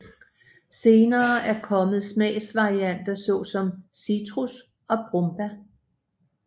Senere er kommet smagsvarianter såsom citrus og brombær